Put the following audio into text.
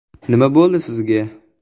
“Nima bo‘ldi, sizga?